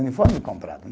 Uniforme comprado